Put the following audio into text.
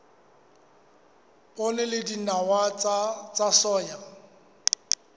poone le dinawa tsa soya